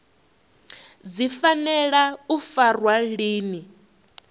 dzi fanela u farwa lini